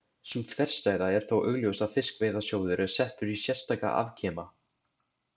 Sú þverstæða er þó augljós að Fiskveiðasjóður er settur í sérstaka afkima.